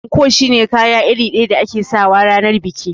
Anko shine kaya iri ɗaya da ake sawa ranar biki